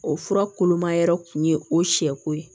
O fura kolonma yɔrɔ kun ye o ye sɛko ye